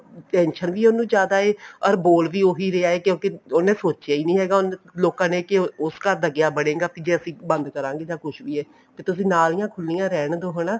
tension ਵੀ ਉਹਨੂੰ ਜ਼ਿਆਦਾ ਹੈ or ਬੋਲ ਵੀ ਉਹੀ ਰਿਹਾ ਹੈ ਕਿਉਂਕਿ ਉਹਨੇ ਸੋਚਿਆ ਹੀ ਨਹੀਂ ਹੈਗਾ ਲੋਕਾਂ ਨੇ ਕੀ ਉਸ ਘਰ ਦਾ ਕਿਆ ਬਨੇਗਾ ਜੇ ਅਸੀਂ ਨਦ ਕਰਾਂਗੇ ਜਾਂ ਕੁੱਝ ਵੀ ਹੈ ਤੇ ਤੁਸੀਂ ਨਾਲੀਆਂ ਖੁੱਲੀਆਂ ਰਹਿਣ ਦੋ ਹਨਾ